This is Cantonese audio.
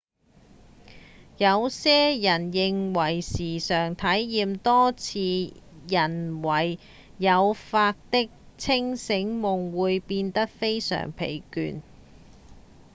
有些人認為時常體驗多次人為誘發的清醒夢會變得非常疲倦